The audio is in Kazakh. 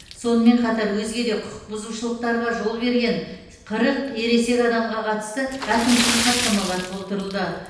сонымен қатар өзге де құқық бұзушылықтарға жол берген қырық ересек адамға қатысты әкімшілік хаттамалар толтырылды